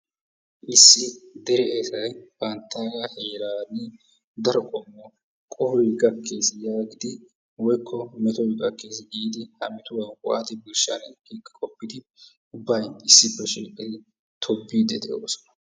Issi dere esay banttaagaa heerani daro qohoy gakkiis yaagidi woykko meetoy gakkiis giidi ha meetuwaa waati birshshanee gidi qooppidi ubbay issippe shiiqqidi tobbiidi de'oosona.